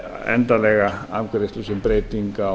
endanlega afgreiðslu sem breyting á